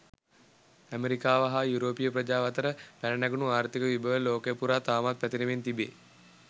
ඇමෙරිකාව හා යුරෝපීය ප්‍රජාව අතරින් පැන නැගුණ ආර්ථික විභව ලෝකය පුරා තවමත් පැතිරෙමින් තිබේ.